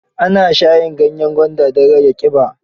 Ana shayin ganyen gwanda don rage ƙiba.